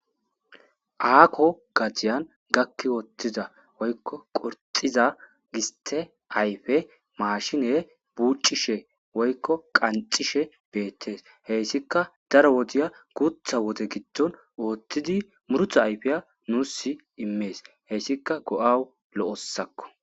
Aako gadiyan gakki woththiza woykko qurxxiza gisththe ayfe maashinee buuccishe woykko qanxxishe beeththees; heysikka daro wodiya guuththa wode giddon ooththidi murutha ayfiyaa nuussi immees; heysikka go7awu lo7osakko.